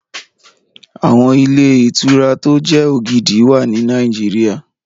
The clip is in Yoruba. Àwọn ilé ìtura tó jẹ́ ògidì wà ní Nàìjíríyà